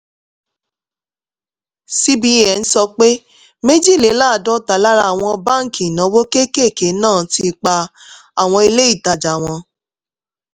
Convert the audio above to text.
cbn sọ pé méjìléláàádọ́ta lára àwọn báńkì ìnáwó kéékèèké náà ti pa àwọn ilé ìtajà wọn;